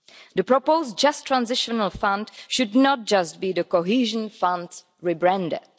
The proposed Just Transition Fund should not just be the Cohesion Fund rebranded.